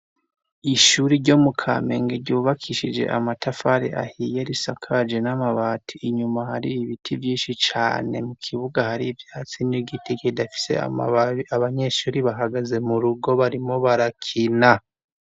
Ishuri ryo mu kamenge ryubakishije amatafari ahiye risakaje n'amabati. Inyuma hari ibiti vyinshi cane, mu kibuga hari ivyatsi n'igiti kidafise amababi. Abanyeshuri bahagaze mu rugo barimwo barakina.